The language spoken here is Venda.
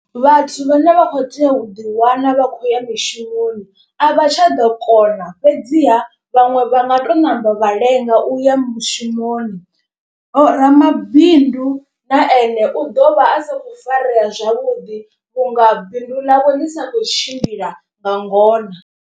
Vhathu vhane vha kho tea u ḓi wana vha khou ya mushumoni a vha tsha ḓo kona. Fhedziha vhaṅwe vha nga to namba vha lenga uya mushumoni vho ramabindu na ene u ḓo vha a sa kho farea zwavhuḓi vhunga bindu ḽavho ḽi sa khou tshimbila nga ngona.